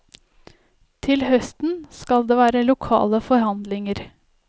Til høsten skal det være lokale forhandlinger.